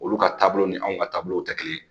Olu ka taabolo ni anw ka taabolow tɛ kelen ye